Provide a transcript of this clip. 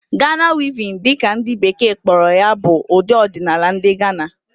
Ghana Weaving' dị ka ndị bekee kpọrọ ya bụ ụdị ọdinaala ndị Gana